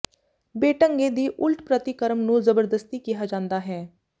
ਬੇਢੰਗੇ ਦੀ ਉਲਟ ਪ੍ਰਤੀਕਰਮ ਨੂੰ ਜ਼ਬਰਦਸਤੀ ਕਿਹਾ ਜਾਂਦਾ ਹੈ